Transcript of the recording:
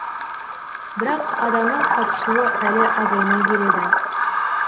бірақ адамның қатысуы әлі азаймай келеді